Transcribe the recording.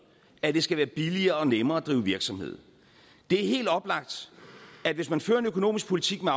at det skal være billigere og nemmere at drive virksomhed det er helt oplagt at hvis man fører en økonomisk politik med